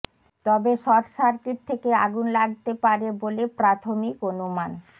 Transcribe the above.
তবে short circuit থেকে আগুন লাগতে পারে বলে প্রাথমিক অনুমান